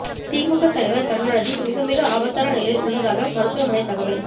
திமுக தலைவர் கருணாநிதி மிக மிக ஆபத்தான நிலையில் உள்ளதாக மருத்துவமனை தகவல்